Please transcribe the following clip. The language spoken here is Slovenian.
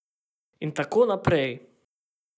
In tako naprej.